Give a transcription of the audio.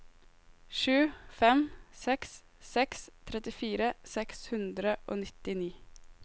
sju fem seks seks trettifire seks hundre og nittini